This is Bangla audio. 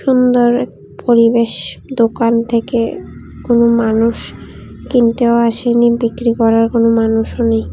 সুন্দর এক পরিবেশ দোকান থেকে কোনো মানুষ কিনতেও আসেনি বিক্রি করার কোন মানুষও নেই।